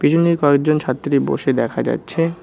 কয়েকজন ছাত্রী বসে দেখা যাচ্ছে।